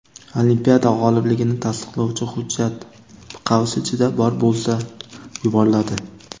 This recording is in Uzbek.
olimpiada g‘olibligini tasdiqlovchi hujjat (bor bo‘lsa) yuboriladi.